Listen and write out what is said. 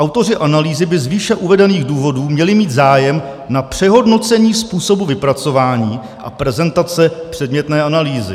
Autoři analýzy by z výše uvedených důvodů měli mít zájem na přehodnocení způsobu vypracování a prezentace předmětné analýzy.